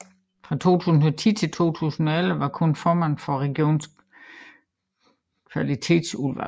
Fra 2010 til 2011 var hun formand for regionens kvalitetsudvalg